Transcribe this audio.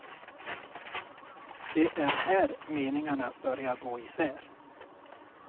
Det är här meningarna börjar gå isär.